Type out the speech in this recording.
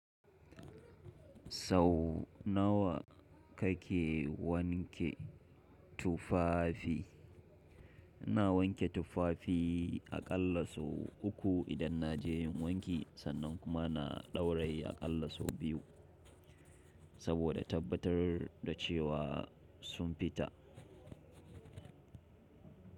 Sau nawa kake wanke tufafi? Ina wanke tufafi aƙalla sau uku idan na je wanki sannan kuma na ɗauraye aƙalla sau biyu saboda tabbatar da cewa sun fita.